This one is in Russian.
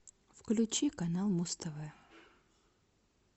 включи канал муз тв